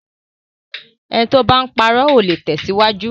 Ẹni tí o bá ń parọ́, ò le tẹ̀síwájú.